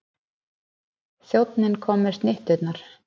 Þjónninn kom með snitturnar.